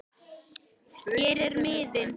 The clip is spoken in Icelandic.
Hér er miðinn